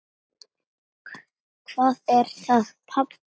Hvað er það, pabbi?